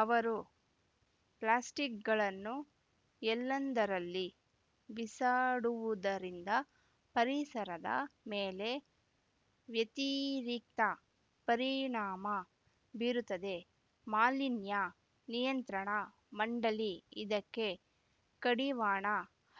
ಅವರು ಪ್ಲಾಸ್ಟಿಕ್‌ಗಳನ್ನು ಎಲ್ಲೆಂದರಲ್ಲಿ ಬಿಸಾಡುವುದರಿಂದ ಪರಿಸರದ ಮೇಲೆ ವ್ಯತಿರಿಕ್ತ ಪರಿಣಾಮ ಬೀರುತ್ತಿದೆ ಮಾಲಿನ್ಯ ನಿಯಂತ್ರಣ ಮಂಡಳಿ ಇದಕ್ಕೆ ಕಡಿವಾಣ